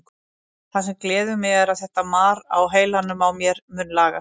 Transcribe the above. Það sem gleður mig er að þetta mar á heilanum á mér mun lagast.